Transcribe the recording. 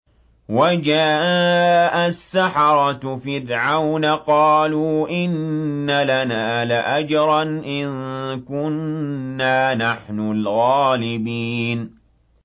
وَجَاءَ السَّحَرَةُ فِرْعَوْنَ قَالُوا إِنَّ لَنَا لَأَجْرًا إِن كُنَّا نَحْنُ الْغَالِبِينَ